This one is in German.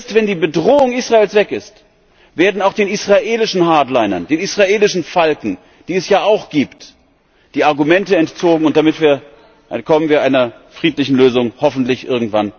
Erst wenn die Bedrohung Israels weg ist, werden auch den israelischen Hardlinern, den israelischen Falken, die es ja auch gibt, die Argumente entzogen, und damit kommen wir einer friedlichen Lösung hoffentlich irgendwann näher.